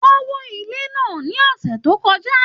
Wọn wò ilé náà ní ọ̀sẹ̀ tó kọjá.